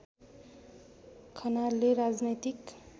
खनालले राजनैतिक